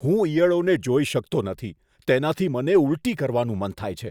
હું ઈયળોને જોઈ શકતો નથી, તેનાથી મને ઊલટી કરવાનું મન થાય છે.